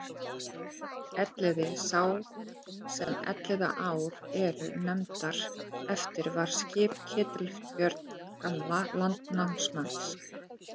Elliði sá sem Elliðaár eru nefndar eftir var skip Ketilbjörns gamla landnámsmanns.